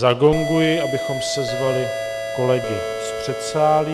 Zagonguji, abychom sezvali kolegy z předsálí.